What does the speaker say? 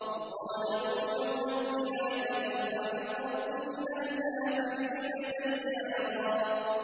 وَقَالَ نُوحٌ رَّبِّ لَا تَذَرْ عَلَى الْأَرْضِ مِنَ الْكَافِرِينَ دَيَّارًا